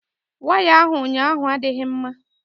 Waya ahụ ụnyaahụ adịghị mma.